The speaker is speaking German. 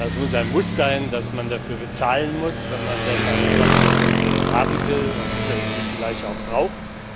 Es muss ein Muss sein, dafür zu bezahlen, wenn man denn eine Plastiktüte haben will und sie vielleicht auch braucht.